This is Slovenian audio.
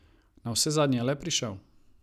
Navsezadnje je le prišel.